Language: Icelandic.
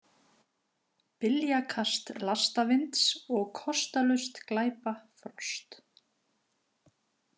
, byljakast lastavinds og kostalaust glæpa frost